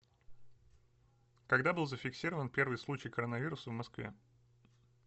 когда был зафиксирован первый случай коронавируса в москве